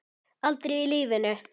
Aldrei í lífinu.